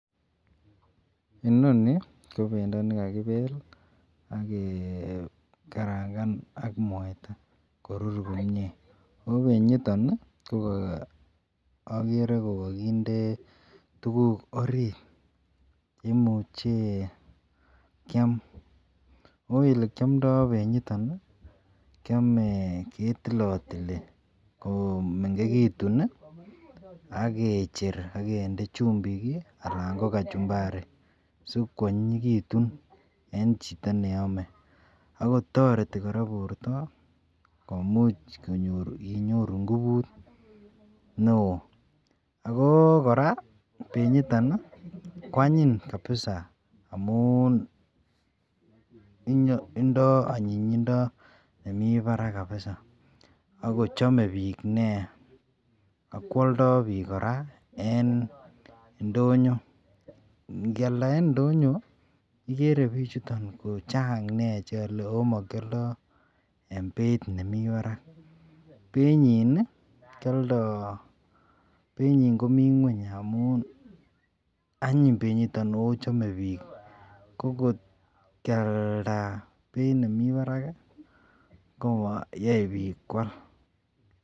Inoni ko bendo nikakibe agekarangan AK mwaita akorur komie ako benyiton kokakikaranganbak mwaita korur komie ako benyiton agere kokakinde tuguk orit cheimuche Kiam kiamdoi benyiton kiame ketilatili komengekitun agecher agende chumbik anan ko kachumbari sikwanyinyikitun en Chito neyome akotareti kora borta komuch konyor inyoru ingubut neon ako koraa benyitonkwanyin kabisa amun Indo anyinyindo nemi Barak kabisa akochame bik neia akwoldo bik koraa en indonyo ngealda en indonyo igere bichuton kochan cheyale omakyoldoi en Beit nemi Barak ako beiyin kialdo en Beit nemii ngweny anyin benyiton akochame bik kokotkialda Beit nemii Barak kamayale bik